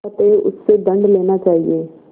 अतएव उससे दंड लेना चाहिए